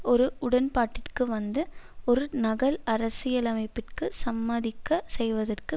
ஒரு உடன்பாட்டிற்கு வந்து ஒரு நகல் அரசியலமைப்பிற்கு சம்மதிக்கச் செய்வதற்கு